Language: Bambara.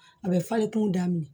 A bɛ falen kungo daminɛ